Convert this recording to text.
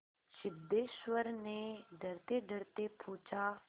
सिद्धेश्वर ने डरतेडरते पूछा